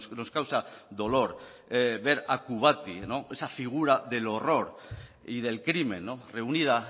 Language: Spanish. nos causa dolor ver a kubati esa figura del horror y del crimen reunida